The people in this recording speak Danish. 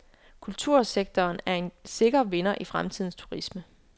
Kultursektoren er en sikker vinder i fremtidens turisme.